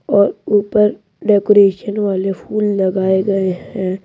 और ऊपर डेकोरेशन वाले फूल लगाए गए हैं।